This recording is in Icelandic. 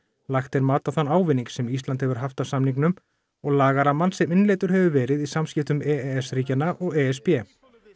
lagt er mat á þann ávinning sem Ísland hefur haft af samningnum og lagarammann sem innleiddur hefur verið í samskiptum e s ríkjanna og e s b